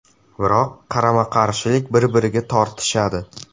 Biroq qarama-qarshilik bir-biriga tortishadi.